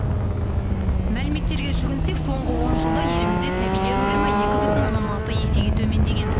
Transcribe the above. мәліметтерге жүгінсек соңғы он жылда елімізде сәбилер өлімі екі бүтін оннан алты есеге төмендеген